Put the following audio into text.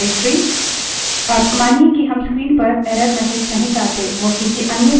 अब मानिए कि हम screen पर error messages नहीं चाहते now किसी अन्य file में रिडाइरेक्ट कर सकते हैं